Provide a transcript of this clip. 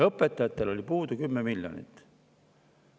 Õpetajatel oli puudu 10 miljonit.